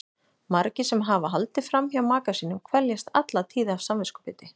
Margir sem hafa haldið fram hjá maka sínum kveljast alla tíð af samviskubiti.